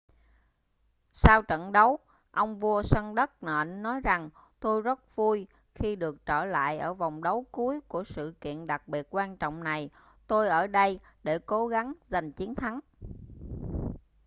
sau trận đấu ông vua sân đất nện nói rằng tôi rất vui khi được trở lại ở vòng đấu cuối của sự kiện đặc biệt quan trọng này tôi ở đây để cố gắng giành chiến thắng